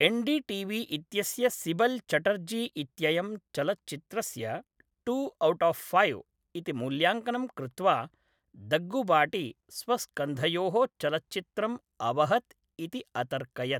N D T V इत्यस्य सिबल् चटर्जी इत्ययं चलच्चित्रस्य टु औट् आफ् फैव् इति मूल्याङ्कनं कृत्वा दग्गुबाटि स्वस्कन्धयोः चलच्चित्रम् अवहत् इति अतर्कयत्।